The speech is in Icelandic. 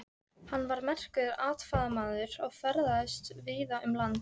Hann var merkur athafnamaður og ferðaðist víða um land.